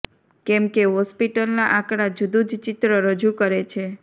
કેમકે હોસ્પિટલના આંકડા જુદુ જ ચિત્ર રજૂ કરે છે